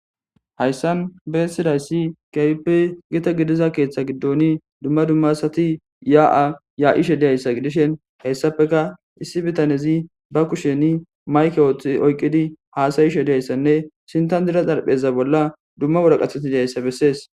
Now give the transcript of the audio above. hayssan beessidayssi kaype gita gidiza keeththa giddoni dumma dummasati yaa7a ya7ishe diyayssa gidishen hessafeka issi bitanezi ba kusheni mayke ooththi oyqqidi haasayishe diyayssanne sinta dira xarpheza bolla dumma woraqatetidayssa bessees